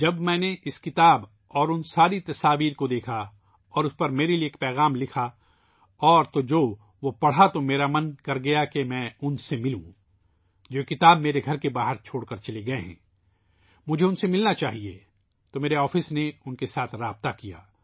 جب میں نے یہ کتاب اور ان تمام تصاویر کو دیکھا اور اس پر میرے لیے ایک پیغام لکھا اور پھر جو میں نے پڑھا ، تو میرا دل چاہا کہ ان سے ملوں ، جو یہ کتاب میرے گھر کے پاس چھوڑ گئے ہیں ، مجھے اُن سے ملنا چاہیئے تو میرے دفتر نے اُن کے ساتھ رابطہ قائم کیا